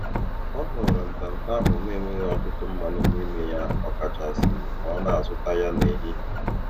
Ọ họrọ ntanta ahụ na - enweghị ọtụtụ mmanụ n'ime ya ọ kachasị ma ọ na-azụta ya n'ehihie